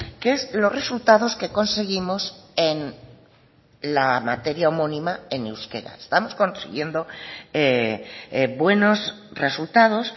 que es los resultados que conseguimos en la materia homónima en euskera estamos consiguiendo buenos resultados